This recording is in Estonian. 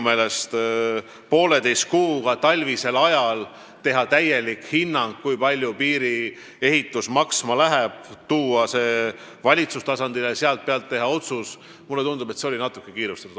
Teha poolteise kuuga talvisel ajal täielik hinnang, kui palju läheb maksma kogu piiriehitus, ja tuua see valitsuse tasandile, kes peab selle põhjal tegema otsuse – mulle tundub, et see käis natuke kiirustades.